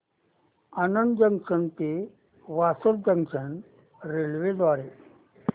Anand junction ते Vasad junction railway द्वारे